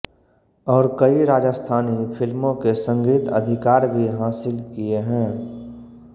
और कई राजस्थानी फिल्मों के संगीत अधिकार भी हासिल किए हैं